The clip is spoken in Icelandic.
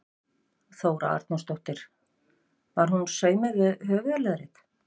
Þóra Arnórsdóttir: Var hún saumuð við höfuðleðrið?